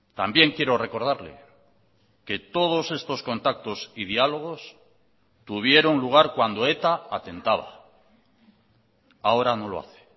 también quiero recordarle que todos estos contactos y diálogos tuvieron lugar cuando eta atentaba ahora no lo hace